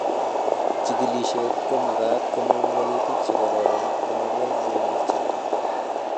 Jikilishet komakat komong wolutik che kororon amakon keng'etyo